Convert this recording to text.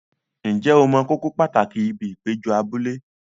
Ǹjẹ́ o mọ kókó pàtàkì ibi ìpéjọ abúlé?